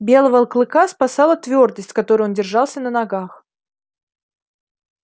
белого клыка спасала твёрдость с которой он держался на ногах